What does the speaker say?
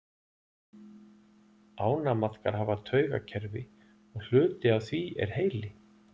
ánamaðkar hafa taugakerfi og hluti af því er heili